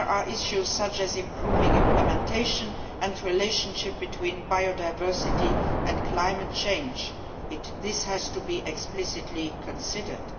Issues such as improving implementation and the relationship between biodiversity and climate change must be explicitly considered.